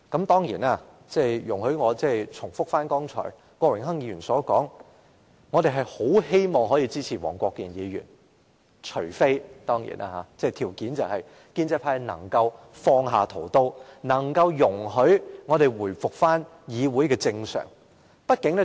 當然，容許我重複剛才郭榮鏗議員所說，我們很希望可以支持黃國健議員動議的中止待續議案，條件是建制派能放下屠刀，令議會回復正常運作。